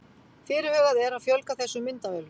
Fyrirhugað er að fjölga þessum myndavélum